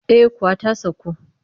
Eh kuwa ta saku